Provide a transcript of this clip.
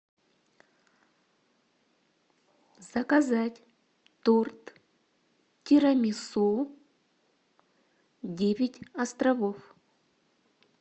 заказать торт тирамису девять островов